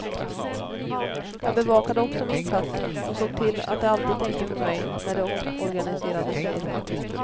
Jag bevakade också min plats och såg till att de alltid tänkte på mig när de omorganiserade, säger hon.